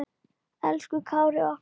Elsku Kári okkar.